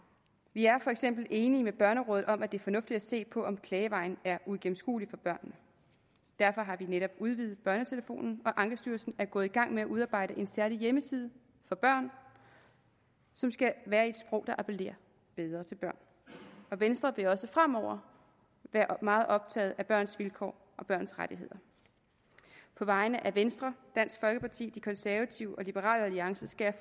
vi er for eksempel enige med børnerådet om at det er fornuftigt at se på om klagevejen er uigennemskuelig for børnene derfor har vi netop udvidet børnetelefonen og ankestyrelsen er gået i gang med at udarbejde en særlig hjemmeside for børn som skal være i et sprog der appellerer bedre til børn venstre vil også fremover være meget optaget af børns vilkår og børns rettigheder på vegne af venstre dansk folkeparti de konservative og liberal alliance skal jeg